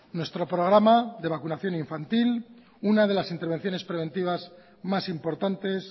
nuestro programa de vacunación infantil una de las intervenciones preventivas más importantes